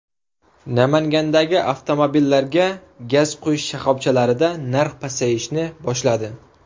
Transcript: Namangandagi avtomobillarga gaz quyish shoxobchalarida narx pasayishni boshladi.